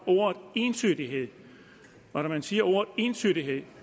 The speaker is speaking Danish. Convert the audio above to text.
ordet entydighed og når man siger ordet entydighed